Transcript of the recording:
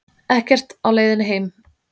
Ekkert á leiðinni heim